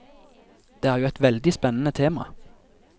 Det er jo et veldig spennende tema.